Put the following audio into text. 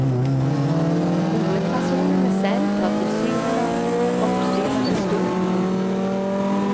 Hovedpersonene selv tar tilsynelatende oppstyret med stor ro.